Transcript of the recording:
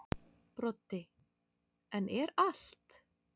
Broddi: En er allt.